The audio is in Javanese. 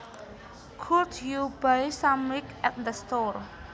Could you buy some milk at the store